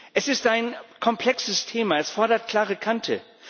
Es ist ein komplexes Thema, es fordert klare Kante.